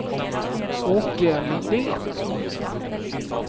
Åke Lindén